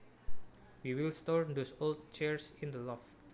We will store those old chairs in the loft